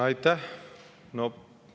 Aitäh!